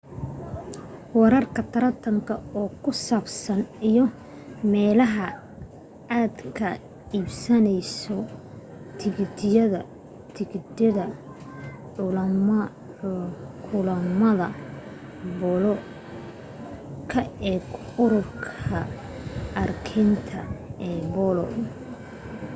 wararka tartanka ku saabsan iyo meelaha aad ka iibsanayso tigidhada kulamada boolo ka eeg ururka argentina de polo